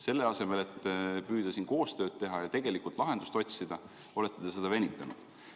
Selle asemel et püüda koostööd teha ja tegelikult lahendust otsida, olete te seda venitanud.